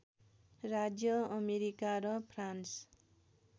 राज्य अमेरिका र फ्रान्स